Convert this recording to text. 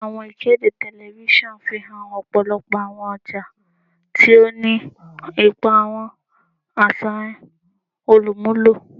Awọn ikede tẹlifisiọnu fihan ọpọlọpọ awọn ọja, ti o ni ipa awọn aṣayan olumulo.